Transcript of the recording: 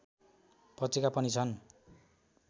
पत्रिका पनि छन्